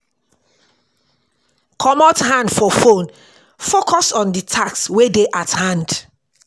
Comot hand for phone, focus on di task wey dey at hand